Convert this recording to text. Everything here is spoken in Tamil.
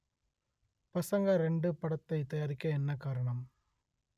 பசங்க ரெண்டு படத்தை தயாரிக்க என்ன காரணம்